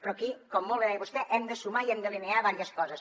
però aquí com molt bé deia vostè hem de sumar i hem d’alinear diverses coses